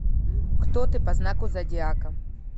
кто ты по знаку зодиака